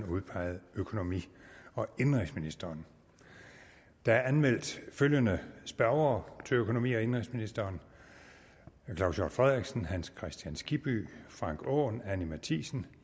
udpeget økonomi og indenrigsministeren der er anmeldt følgende spørgere til økonomi og indenrigsministeren claus hjort frederiksen hans kristian skibby frank aaen anni matthiesen